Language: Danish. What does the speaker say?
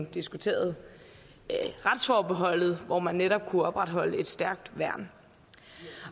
diskuterede retsforbeholdet hvor man netop kunne opretholde et stærkt værn